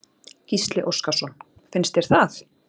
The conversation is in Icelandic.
Gísli Óskarsson: Finnst þér það?